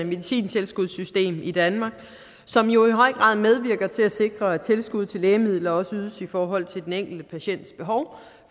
medicintilskudssystem i danmark som jo i høj grad medvirker til at sikre at tilskud til lægemidler også ydes i forhold til den enkelte patients behov